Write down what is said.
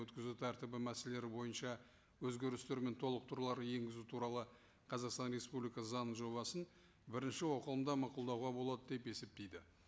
өткізу тәртібі мәселелері бойынша өзгерістер мен толықтырулар енгізу туралы қазақстан республикасы заңының жобасын бірінші оқылымда мақұлдауға болады деп есептейді